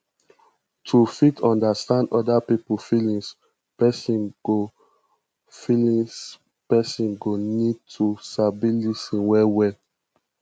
to fit understand oda pipo feelings person go feelings person go need to sabi lis ten well well